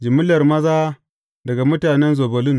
Jimillar maza daga mutanen Zebulun ne.